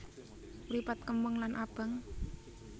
Mripat kemeng lan abang